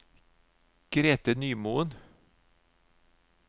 Grete Nymoen